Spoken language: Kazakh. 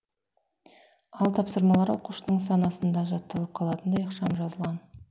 ал тапсырмалар оқушының санасында жатталып қалатындай ықшам жазылған